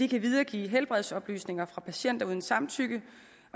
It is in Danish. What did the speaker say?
kan videregive helbredsoplysninger fra patienter uden samtykke